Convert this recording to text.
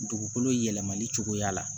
Dugukolo yɛlɛmali cogoya la